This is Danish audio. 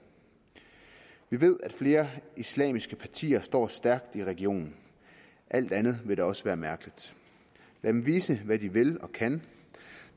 vi ved at flere islamiske partier står stærkt i regionen alt andet ville da også være mærkeligt lad dem vise hvad de vil og kan